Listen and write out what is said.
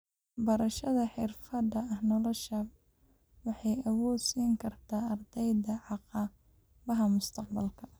Waxbarashada xirfadaha nolosha waxay awood siin kartaa ardayda caqabadaha mustaqbalka.